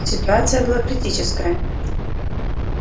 ситуация была критическая